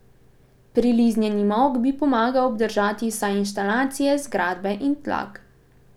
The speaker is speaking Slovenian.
Priliznjeni molk bi pomagal obdržati vsaj inštalacije, zgradbe in tlak.